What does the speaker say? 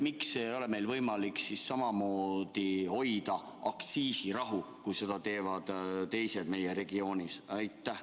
Miks ei ole meil võimalik samamoodi hoida aktsiisirahu, kui seda teevad teised meie regioonis?